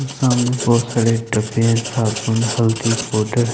और सामने बहुत सारे डिब्बे हैं साबून हल्दी पाउडर।